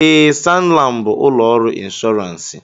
Ee, SanLam bụ ụlọ ọrụ inshọransị.